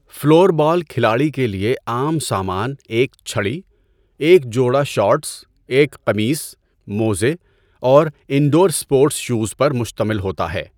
Floor ball کھلاڑی کے لیے عام سامان ایک چھڑی، ایک جوڑا شارٹس، ایک قمیص، موزے اور انڈور اسپورٹس شوز پر مشتمل ہوتا ہے۔